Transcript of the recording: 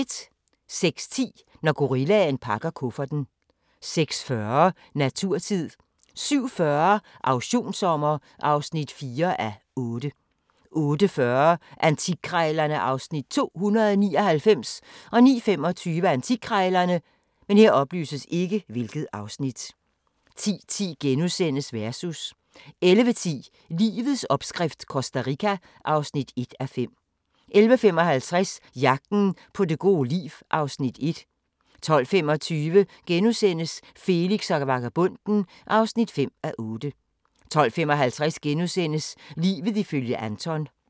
06:10: Når gorillaen pakker kufferten 06:40: Naturtid 07:40: Auktionssommer (4:8) 08:40: Antikkrejlerne (Afs. 299) 09:25: Antikkrejlerne 10:10: Versus * 11:10: Livets opskrift - Costa Rica (1:5) 11:55: Jagten på det gode liv (Afs. 1) 12:25: Felix og vagabonden (5:8)* 12:55: Livet ifølge Anton *